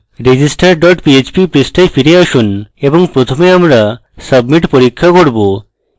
register dot php পৃষ্ঠায় ফিরে আসুন এবং প্রথমে আমরা submit পরীক্ষা করব